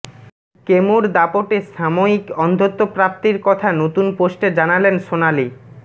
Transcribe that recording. কেমোর দাপটে সাময়িক অন্ধত্ব প্রাপ্তির কথা নতুন পোস্টে জানালেন সোনালি